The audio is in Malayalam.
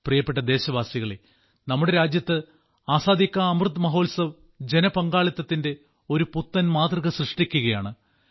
പ്രിയപ്പെട്ട ദേശവാസികളേ നമ്മുടെ രാജ്യത്ത് ആസാദി കാ അമൃത് മഹോത്സവ് ജനപങ്കാളിത്തത്തിന്റെ ഒരു പുത്തൻ മാതൃക സൃഷ്ടിക്കുകയാണ്